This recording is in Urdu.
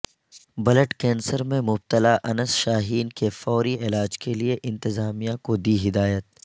بلڈ کینسر میں مبتلا انس شاہین کے فوری علاج کے لئےانتظامیہ کو دی ہدایت